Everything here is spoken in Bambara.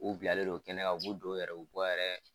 U bilalen don kɛnɛ kan u b'u don yɛrɛ u bɛ bɔ yɛrɛ